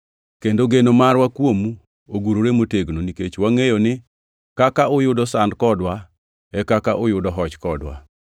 Kendo geno marwa kuomu ogurore motegno; nikech wangʼeyo ni kaka uyudo sand kodwa e kaka uyudo hoch kodwa.